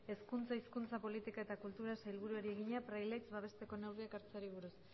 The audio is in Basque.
hezkuntza hizkuntza politika eta kulturako sailburuari egina praileaitz babesteko neurriak hartzeari buruz